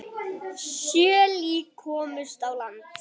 Sjö lík komust á land.